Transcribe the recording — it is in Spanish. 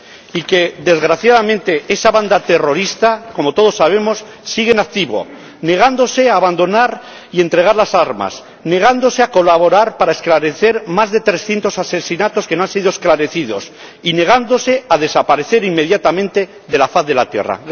y que, desgraciadamente, esa banda terrorista, como todos sabemos, sigue en activo, negándose a abandonar y entregar las armas, negándose a colaborar para esclarecer más de 300 asesinatos que no han sido esclarecidos y negándose a desaparecer inmediatamente de la faz de la tierra.